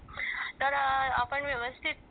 तर आपण व्यवस्थित